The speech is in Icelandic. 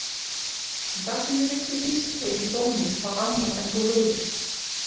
En það sem ég vildi vísa til í dómnum var annað en þú hugðir.